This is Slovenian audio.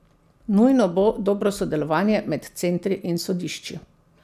Nujno bo dobro sodelovanje med centri in sodišči.